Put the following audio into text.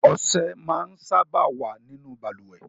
Ọsẹ máa ń sábà wá nínú Balùwẹ́